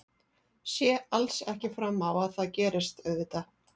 Sé alls ekki fram á að það gerist auðvitað.